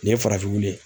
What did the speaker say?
Nin ye farafin weele